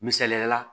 Misaliyala